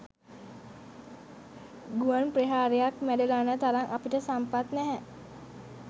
ගුවන් ප්‍රහාරයක් මැඩලන්න තරම් අපිට සම්පත් නැහැ.